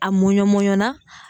A mɔnɲun mɔnɲunna.